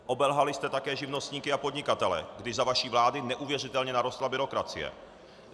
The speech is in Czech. Obelhali jste také živnostníky a podnikatele, když za vaší vlády neuvěřitelně narostla byrokracie.